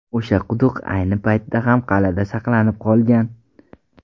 O‘sha quduq ayni paytda ham qal’ada saqlanib qolgan.